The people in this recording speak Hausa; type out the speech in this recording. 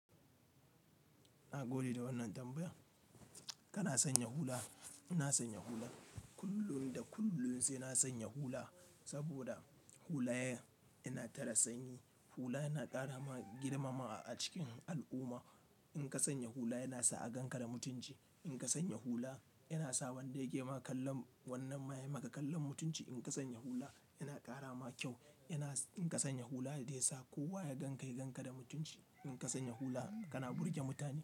Na gode da wannan tambayar. Kana sanya hula, ina sanya hula. Kullun da kullun sai na sanya hula, saboda hula yana tara sanyi. Hula yana ƙara ma girmamawa a cikin al'umma. In ka sanya hula yana sa a gan ka da mutunci. In ka sanya hula yana sa wanda yake ma kallan wannan ma yayi ma ka kallon mutunci. In ka sanya hula yana ƙara ma kyau. In ka sanya hula zai sa kowa ya ganka, ya gan ka da mutunci. In ka sanya hula kana burge mutane.